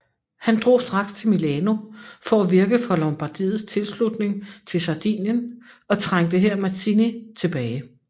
Han drog straks til Milano for at virke for Lombardiets tilslutning til Sardinien og trængte her Mazzini tilbage